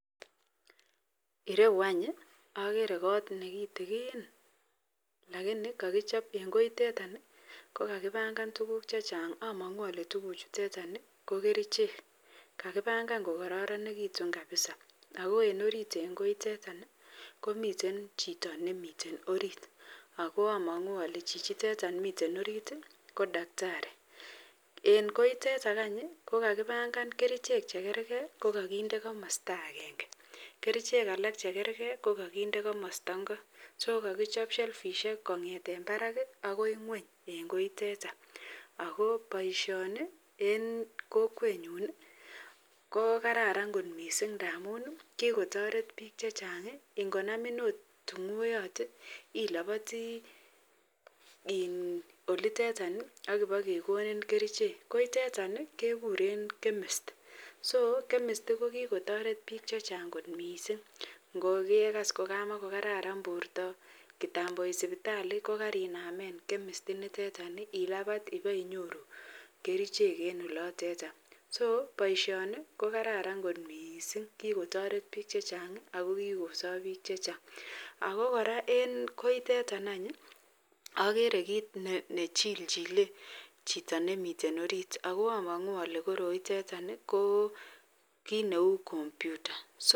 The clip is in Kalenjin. Ireyu any agere kot nekitikin lakini kakichop en koitet kokakibangan tuguk chechang amangu Kole tuguk ichuteton ko kerchek chekakibangan kokararanikitun kabisa ako en orit en koiteton komiten Chito nemiten orit akoamangu Kole chichiton mi orit kodaktari en koiteton any kokakibangan kerchek chekergei akende komasta agenge kerchek alak chekergei kokakinde kamosto Ingo akokakichop selfishek kongeten Barak bakoi ngweny en koiteton ako baishoni en Kokwenyun kokararan kot mising ntandan ntamun kikotaret bik chechang en konamin okot tungoiuot ilabati oliteton Akiba kegonin kerchek koiteton kekuren kemist so kemist kokikotaret Bik chechang kot mising ngogekas ko kamakokararan borta ak kitambo yegait sibitali kokainamen kemist initon ilabat iwe inyoru kerchek en olotetan so baishoni ko kararan kot mising akokikotaret bik chechang akokikosobbbik chechang akokoraa en koiteton agere kit nechilchile Chito nemiten orit akoa amangu Kole koroitetan ko kit Neu computa